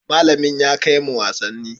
Malamin ya kai mu wasanni.